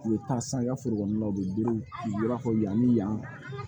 U bɛ taa san i ka foro kɔnɔna la u bɛ berew b'a fɔ yani yan